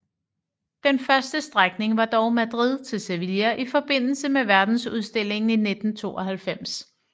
Den første strækning var dog Madrid til Sevilla i forbindelse med Verdensudstillingen i 1992